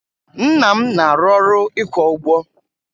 Nna m na-arụ ọrụ ịkwa ụgbọ